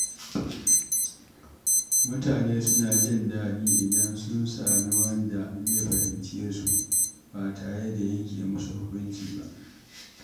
Mutane suna jin daɗi idan sun sami wanda zai fahimce su ba tare da yanke musu hukunci ba.